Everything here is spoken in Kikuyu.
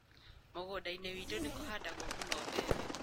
Mũgũnda-inĩ witũ nĩ kũhandagwo mũno mbembe.